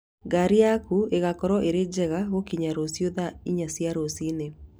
Ngaari yaku ĩgaakorũo ĩrĩ njega gũkinya rũciũ thaa inya cia rũcinĩ.